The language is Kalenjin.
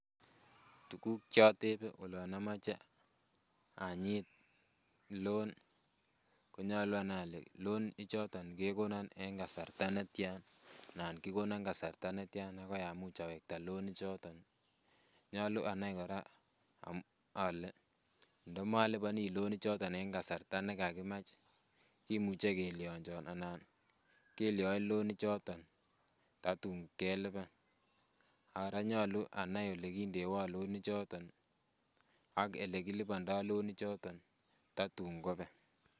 Tuguk chotebe olon amoche anyit loan konyolu anai ole loan ichoton kekonon en kasarta netyan anan kikonon kasarta netyan akoi amuch awekta loan ichoton nyolu anai kora ole ndomoliboni loan ichoton en kasarta nekakimach kimuche kelyonjon ana kelyoi you loan ichoton tatun keliban ak kora nyolu anai elekindewon loan ichoton ak elekilipondoo loan ichoton tatun kobek.